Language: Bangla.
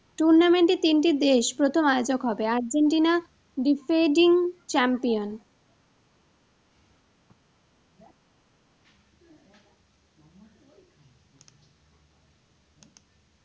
Tournament এর তিনটি দেশ প্রথম আয়োজক হবে। Argentinadifreding champion.